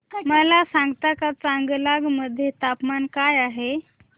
मला सांगता का चांगलांग मध्ये तापमान काय आहे